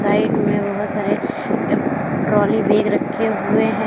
Side में बहुत सारे अ ट्राली बैग रखे हुए है।